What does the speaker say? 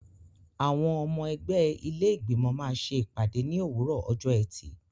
Àwọn ọmọ ẹgbẹ́ ilé Ìgbìmọ̀ máa ṣe ìpàdé ní òwúrọ̀ ọjọ́ ẹtì.